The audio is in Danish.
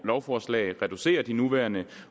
lovforslag reducerer de nuværende